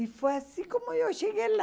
E foi assim como eu cheguei lá.